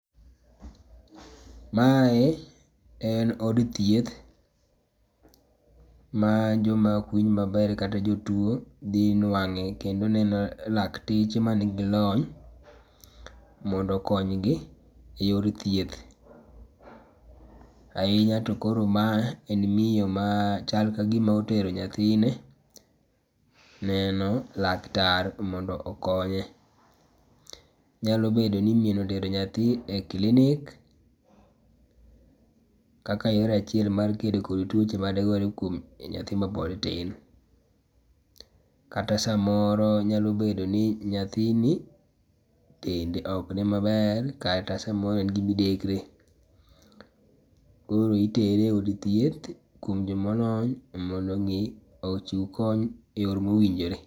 Mae en od thieth ma jo ma ok winj ma ber kata jo tuo dhi nwange kendo neno lakteche man gi lony mondo okony gi e yor thieth. Ainya to koro ma en miyo ma chal ka gi mo tero nyathine neno laktar mondo okonye. Nyalo bedo ni miyo otero nyathi e klinik kaka yo achiel mar kedo kod tuoche ma de gore e dend nyathi ma pod tin. Kata saa moro nyalo bedo ni nyathini dende ok ni ma ber kata saa moro en gi midekre, koro itere e od thieth kuom ji ma olony mondo omi ochiw kony yor ma owinjore.